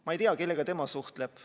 Ma ei tea, kellega tema suhtleb.